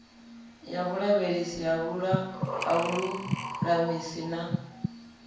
ya vhulavhelesi ha vhululamisi na